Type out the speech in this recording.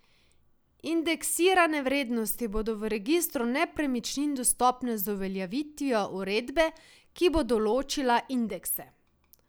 Indeksirane vrednosti bodo v registru nepremičnin dostopne z uveljavitvijo uredbe, ki bo določila indekse.